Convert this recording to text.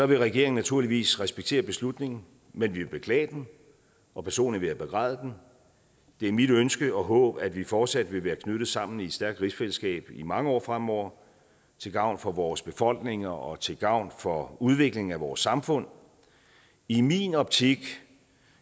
vil regeringen naturligvis respektere beslutningen men vi vil beklage den og personligt vil jeg begræde den det er mit ønske og håb at vi fortsat vil være knyttet sammen i et stærkt rigsfællesskab i mange år fremover til gavn for vores befolkninger og til gavn for udviklingen af vores samfund i min optik